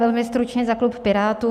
Velmi stručně za klub Pirátů.